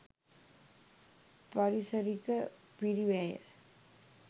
පාරිසරික පිරිවැය